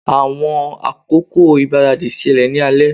Awọn akoko igbaradi ṣẹlẹ ni alẹ